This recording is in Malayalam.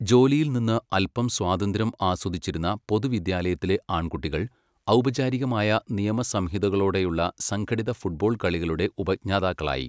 ജോലിയിൽ നിന്ന് അൽപം സ്വാതന്ത്ര്യം ആസ്വദിച്ചിരുന്ന പൊതുവിദ്യാലയത്തിലെ ആൺകുട്ടികൾ, ഔപചാരികമായ നിയമസംഹിതകളോടെയുള്ള സംഘടിത ഫുട്ബോൾ കളികളുടെ ഉപജ്ഞാതാക്കളായി.